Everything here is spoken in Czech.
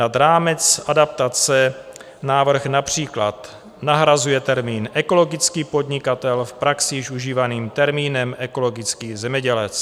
Nad rámec adaptace návrh například nahrazuje termín ekologický podnikatel v praxi již užívaným termínem ekologický zemědělec.